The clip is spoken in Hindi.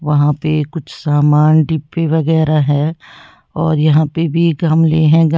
वहां पे कुछ सामान डिब्बे वगैरा है और यहां पे भी गमले हैं। गा --